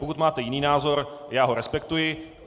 Pokud máte jiný názor, já ho respektuji.